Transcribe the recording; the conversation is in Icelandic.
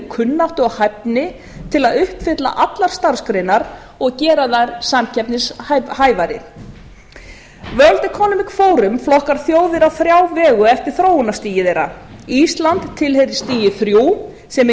kunnáttu og hæfni til að uppfylla allar starfsgreinar og gera þær samkeppnishæfari forum flokkar þjóðir á þrjá vegu eftir þróunarstigi þeirra ísland tilheyrir stigi þrjú sem